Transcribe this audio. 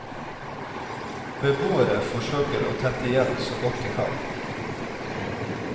Beboere forsøker å tette igjen så godt de kan.